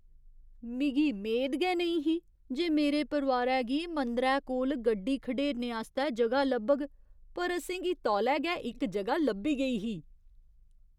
मिगी मेद गै नईं ही जे मेरे परोआरै गी मंदरै कोल गड्डी खढेरने आस्तै ज'गा लब्भग पर असें गी तोलै गै इक ज'गा लब्भी गेई ही।